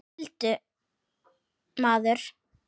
Sigldur maður.